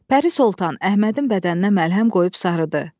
Pəri Soltan Əhmədin bədəninə məlhəm qoyub sarıdı.